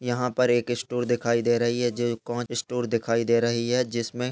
यहां पर एक स्टोर दिखाई दे रही है ज स्टोर दिखाई दे रही है जिसमें --